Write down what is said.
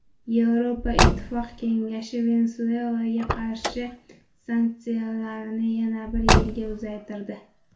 Yevroittifoq kengashi Venesuelaga qarshi sanksiyalarni yana bir yilga uzaytirdi.